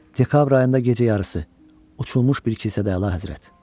Dekabr ayında gecə yarısı uçulmuş bir kilisədə Əlahəzrət.